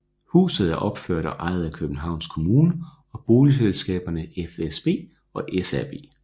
Huset er opført og ejet af Københavns Kommune og boligselskaberne fsb og SAB